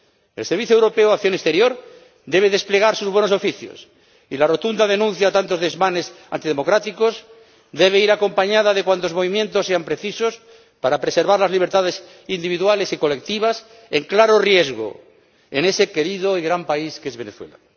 El Servicio Europeo de Acción Exterior debe desplegar sus buenos oficios, y la rotunda denuncia a tantos desmanes antidemocráticos debe ir acompañada de cuantos movimientos sean precisos para preservar las libertades individuales y colectivas en claro riesgo en ese querido y gran país que es Venezuela.